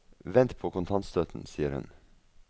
Vent på kontantstøtten, sier hun.